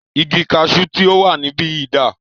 Igi kaṣu tí o wà níbìyí dà?